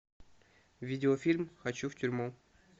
видеофильм хочу в тюрьму